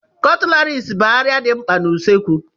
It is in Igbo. Cutleries bụ arịà dị mkpa n'usekwu.